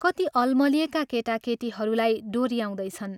कति अलमलिएका केटाकेटीहरूलाई डोऱ्याउँदैछन्।